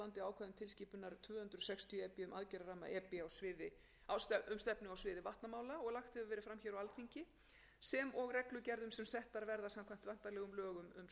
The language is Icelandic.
á landi ákvæði tilskipunar tvö hundruð sextíu e b um aðgerðarramma e b um stefnu á sviði vatnamála og lagt hefur verið fram á alþingi sem og reglugerðum sem settar verða samkvæmt væntanlegum lögum um stjórn vatnamála